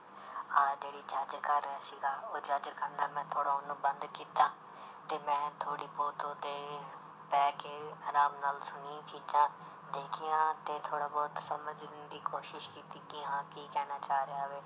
ਆਹ ਜਿਹੜੀ judge ਕਰ ਰਿਹਾ ਸੀਗਾ ਉਹ judge ਕਰਨਾ ਮੈਂ ਥੋੜ੍ਹਾ ਉਹਨੂੰ ਬੰਦ ਕੀਤਾ ਤੇ ਮੈਂ ਥੋੜ੍ਹੀ ਬਹੁਤ ਉਹਤੇ ਬਹਿ ਕੇ ਆਰਾਮ ਨਾਲ ਸੁਣੀ ਚੀਜ਼ਾਂ ਦੇਖੀਆਂ ਤੇ ਥੋੜ੍ਹਾ ਬਹੁਤ ਸਮਝਣ ਦੀ ਕੋਸ਼ਿਸ਼ ਕੀਤੀ ਕਿ ਹਾਂ ਕੀ ਕਹਿਣਾ ਚਾਹ ਰਿਹਾ ਵੇ।